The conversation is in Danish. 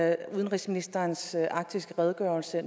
at udenrigsministerens arktiske redegørelse